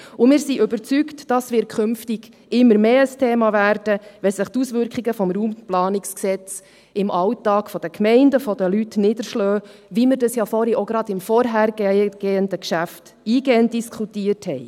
Wir sind überzeugt, dass dies künftig immer mehr ein Thema wird, wenn sich die Auswirkungen des Bundesgesetzes über die Raumplanung (Raumplanungsgesetz, RPG) im Alltag der Gemeinden und der Leute niederschlagen, wie wir das gerade im vorhergehenden Geschäft eingehend diskutiert haben.